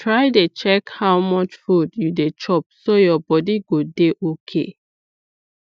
try dey check how much food you dey chop so your body go dey okay